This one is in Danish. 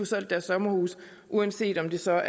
solgt deres sommerhus uanset om det så